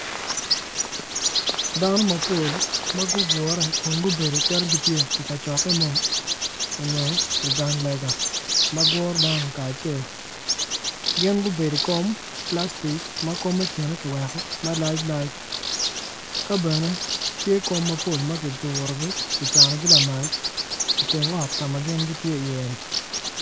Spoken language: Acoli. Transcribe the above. Dano mapol ma gugure kun gubedo calo gitye i kacokke mo nyo i gang lega ma guro dano kacel gin gubedo i kom plastic ma kine kiweko malac lac ki bene tye kom ma kicanogi kidurogi lamal i teng ot ka ma gin gitye oye-ni.